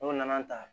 N'o nana